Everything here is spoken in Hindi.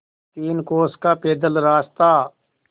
तीन कोस का पैदल रास्ता